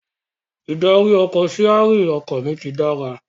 Ìdarí-ọkọ̀/síarìn ọkọ mi ti dára